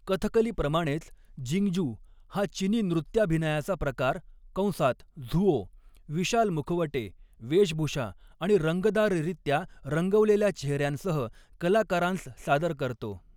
कथकलीप्रमाणेच, Jingju हा चिनी नृत्याभिनयाचा प्रकार कंसात झुओ विशाल मुखवटे, वेशभूषा आणि रंगतदाररीत्या रंगवलेल्या चेहऱ्यांसह कलाकारांस सादर करतो.